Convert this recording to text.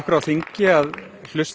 á þingi að hlusta